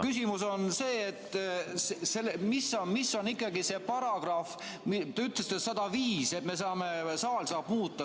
Küsimus on see, et mis on ikkagi see paragrahv, mis ütleb, et saal saab muuta.